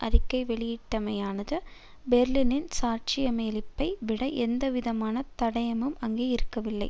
அறிக்கை வெளியிட்டமையானது பிரெளனின் சாட்சியமளிப்பை விட எந்த விதமான தடயமும் அங்கே இருக்கவில்லை